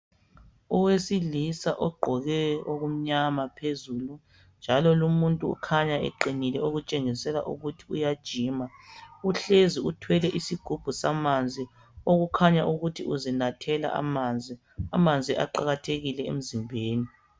Owesilisa ogqoke okumnyama phezulu njalo lumuntu ukhanya eqinile okutshengisela ukuthi uyajima, uhlezi uthwele isigubhu samanzi, okukhanya ukuthi uzinathela amanzi. Amanzi aqakathekile emzimbeni.